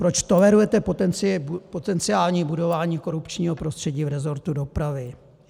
Proč tolerujete potenciální budování korupčního prostředí v rezortu dopravy?